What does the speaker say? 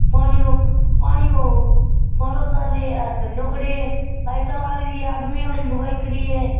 पानी को फुवारो चाल रही है आ झंडाे खड़यो है लाइट लागरी है आदमी और लुगाई खड़ी है।